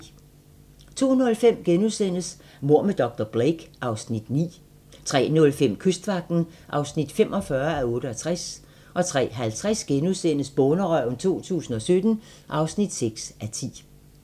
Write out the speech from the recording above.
02:05: Mord med dr. Blake (Afs. 9)* 03:05: Kystvagten (45:68) 03:50: Bonderøven 2017 (6:10)*